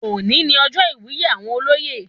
Òní ní ọjọ iwuye àwọn olóyè